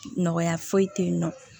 Nɔgɔya foyi tɛ yen nɔ